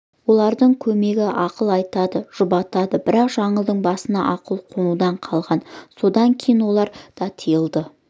олардың көмегі ақылын айтады жұбатады бірақ жаңылдың басына ақыл қонудан қалған содан кейін олар да тыйылды